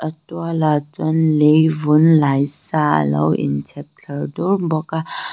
tualah chuan leivum laih sa a lo in chhep thla bawk a.